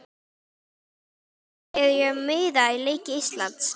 Hvernig sæki ég um miða á leiki Íslands?